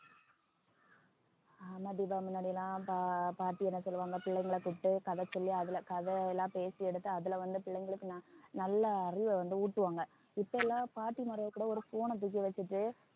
ஆமா தீபா முன்னாடி எல்லாம் பா~ பாட்டி என்ன சொல்லுவாங்க பிள்ளைங்களை கூப்பிட்டு கதை சொல்லி அதுல கதை எல்லாம் பேசி எடுத்து அதுல வந்து பிள்ளைங்களுக்கு நல்~ நல்ல அறிவை வந்து ஊட்டுவாங்க இப்ப எல்லாம் பாட்டிமார்கள் கூட ஒரு phone ன தூக்கி வச்சுட்டு